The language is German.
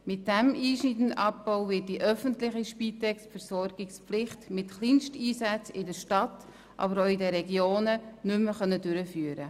Mit diesem einschneidenden Abbau wird die öffentliche Spitex die Versorgungspflicht mit Kleinsteinsätzen in der Stadt, aber auch in den Regionen nicht mehr gewährleisten können.